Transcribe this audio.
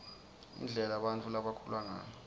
indlela bantfu labakhula ngayo